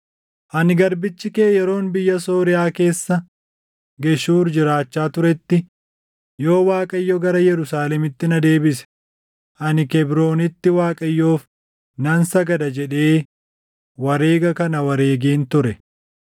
Ani garbichi kee yeroon biyya Sooriyaa keessa Geshuur jiraachaa turetti, ‘Yoo Waaqayyo gara Yerusaalemitti na deebise, ani Kebroonitti Waaqayyoof nan sagada’ jedhee wareega kana wareegeen ture.”